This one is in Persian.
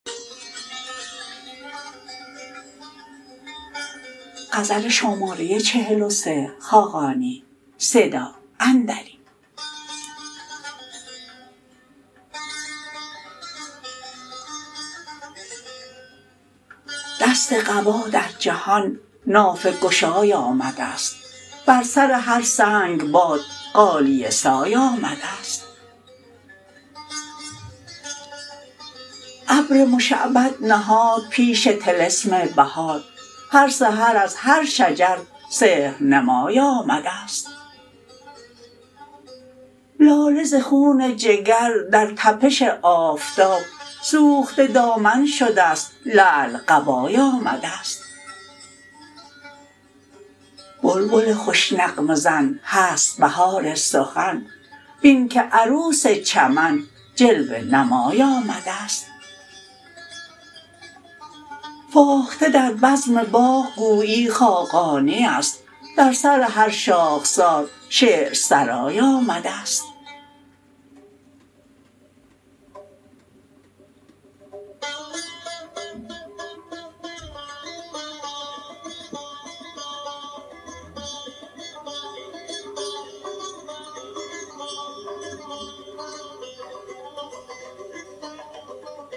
دست قبا در جهان نافه گشای آمده است بر سر هر سنگ باد غالیه سای آمده است ابر مشعبد نهاد پیش طلسم بهار هر سحر از هر شجر سحرنمای آمده است لاله ز خون جگر در تپش آفتاب سوخته دامن شده است لعل قبای آمده است بلبل خوش نغمه زن هست بهار سخن بین که عروس چمن جلوه نمای آمده است فاخته در بزم باغ گویی خاقانی است در سر هر شاخسار شعرسرای آمده است